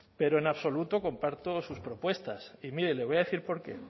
pero en absoluto comparto sus propuestas y mire le voy a decir porqué